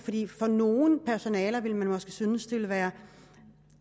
for nogle personaler ville måske synes at det ville være